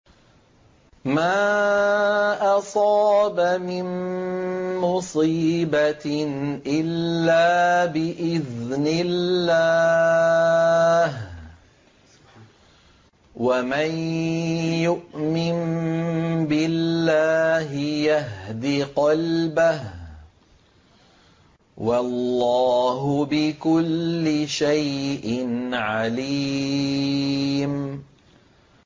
مَا أَصَابَ مِن مُّصِيبَةٍ إِلَّا بِإِذْنِ اللَّهِ ۗ وَمَن يُؤْمِن بِاللَّهِ يَهْدِ قَلْبَهُ ۚ وَاللَّهُ بِكُلِّ شَيْءٍ عَلِيمٌ